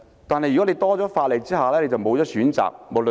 但是，如果增加法例，便會欠缺選擇。